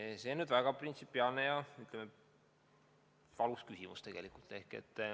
See on tegelikult väga printsipiaalne ja, ütleme, valus küsimus.